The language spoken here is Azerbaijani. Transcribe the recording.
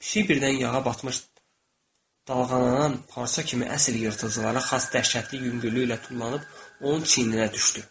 Pişik birdən yağa batmış dalğalanan parça kimi əsl yırtıcılara xas dəhşətli yüngüllük ilə tullanıb onun çiyninə düşdü.